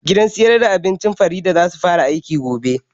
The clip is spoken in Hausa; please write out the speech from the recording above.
Gidan siyar da abincin farida zasu fara aiki gobe